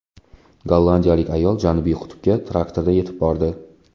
Gollandiyalik ayol Janubiy qutbga traktorda yetib bordi.